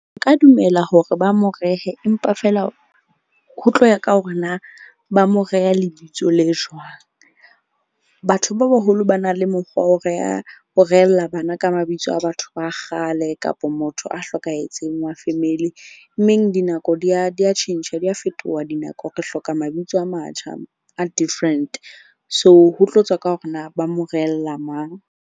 Ka dumela hore ba mo rehe empa feela ho tloha ka hore na ba mo reha lebitso le jwang. Batho ba baholo ba na le mokgwa wa ho reha, ho rehella bana. Ka mabitso a batho ba kgale kapa motho a hlokahetseng wa family. Mmeng dinako di ya tjhentjha, di ya fetoha dinako. Re hloka mabitso a matjha a different. So, ho tlo tswa ka hore na ba mo rehella mang.